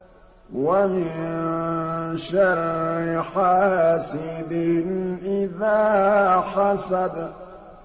وَمِن شَرِّ حَاسِدٍ إِذَا حَسَدَ